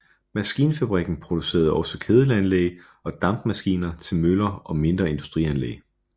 Maskinfabrikken producerede også kedelanlæg og dampmaskiner til møller og mindre industrianlæg